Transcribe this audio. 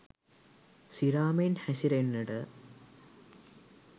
සිරා මෙන් හැසිරෙන්නට